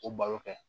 O balo kɛ